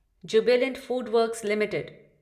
Jubilant FoodWorks limited